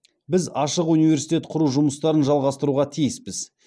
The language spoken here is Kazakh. біз ашық университет құру жұмыстарын жалғастыруға тиіспіз